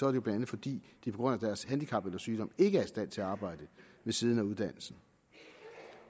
er det bla fordi de på grund af deres handicap eller sygdom ikke er i stand til at arbejde ved siden af uddannelsen